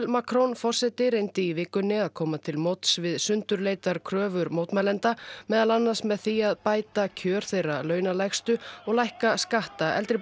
Macron forseti reyndi í vikunni að koma til móts við sundurleitar kröfur mótmælenda meðal annars með því að bæta kjör þeirra launalægstu og lækka skatta eldri